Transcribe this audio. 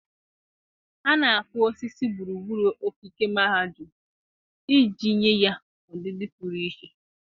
A na-akụ osisi gburugburu ogige mahadum iji nye ya ọdịdị pụrụ iche.